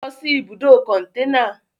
lọ́ si ibùdó kọ̀ntẹ́nà!